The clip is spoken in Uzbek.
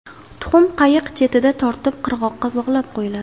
Tuxum-qayiq chetidan tortib qirg‘oqqa bog‘lab qo‘yiladi.